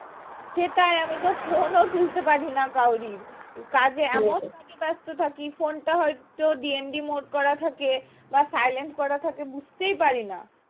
সেটাই আমি তো phone ও তুলতে পারি না কারোরই কাজে এমন কাজে ব্যস্ত থাকি phone টা হয়তো DND mode করা থাকে বা silent করা থাকে বুঝতেই পারি না